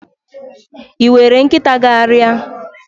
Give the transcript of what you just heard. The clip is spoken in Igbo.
Ị were nkịta gagharịa?